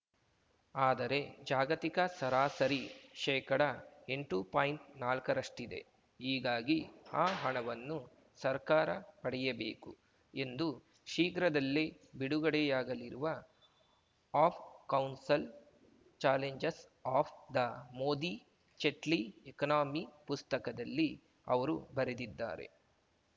ಆದರೆ ಜಾಗತಿಕ ಸರಾಸರಿ ಶೇಕಡಎಂಟು ಪಾಯಿಂಟ್ನಾಲ್ಕರಷ್ಟಿದೆ ಹೀಗಾಗಿ ಆ ಹಣವನ್ನು ಸರ್ಕಾರ ಪಡೆಯಬೇಕು ಎಂದು ಶೀಘ್ರದಲ್ಲೇ ಬಿಡುಗಡೆಯಾಗಲಿರುವ of counsel challenges of the Modi Jaitley economy ಪುಸ್ತಕದಲ್ಲಿ ಅವರು ಬರೆದಿದ್ದಾರೆ